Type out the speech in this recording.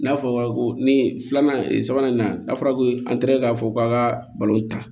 N'a fɔra ko nin filanan sabanan n'a fɔra ko an tɛ k'a fɔ k'a ka balon ta